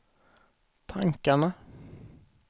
tankarna